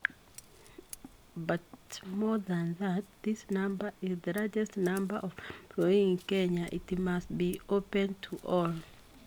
But more than that, this number, is the largest number of employees in Kenya ?? It must be open to all.